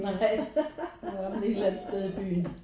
Nej der var man et eller andet sted i byen